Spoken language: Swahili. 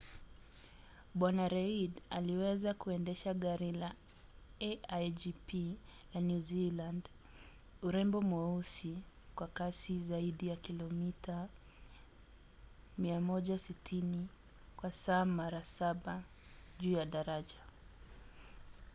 bw. reid aliweza kuendesha gari la a1gp la new zealand urembo mweusi kwa kasi zaidi ya kilomita 160 kwa saa mara saba juu ya daraja